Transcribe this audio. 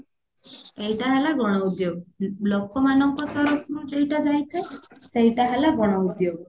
ଏଇଟା ହେଲା ଗଣ ଉଦ୍ଯୋଗ ଲୋକମାନଙ୍କ ତରଫରୁ ଯୋଉଟା ଯାଇଥାଏ ସେଇଟା ହେଲା ଗଣ ଉଦ୍ଯୋଗ